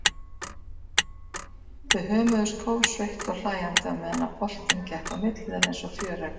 Þau hömuðust kófsveitt og hlæjandi á meðan boltinn gekk á milli þeirra einsog fjöregg.